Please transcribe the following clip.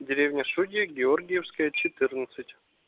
деревня шудья георгиевская четырнадцать